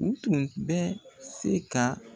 U tun bɛ se ka